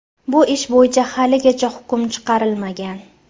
Bu ish bo‘yicha haligacha hukm chiqarilmagan.